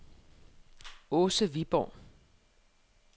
Åse Viborg